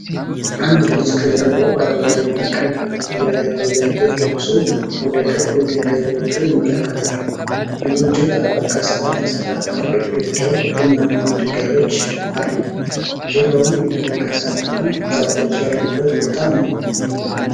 አንድ ልጅ ከጀርባው አረንጓዴና ቀይ ኮፍያ ያለው ጃኬት ለብሶ ወደ ክብ የድንጋይ ጎጆ ይመለከታል። የጎጆው ጣራ ከሣር የተሠራና ግድግዳው ቡናማ ድንጋዮች አሉት። ዙሪያውን የደረቀ ሣርና ዛፎች ያሉበት ቦታ ነው።